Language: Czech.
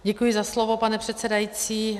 Děkuji za slovo, pane předsedající.